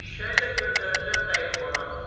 Eşşəyi də göndərəcəm dəyirmana.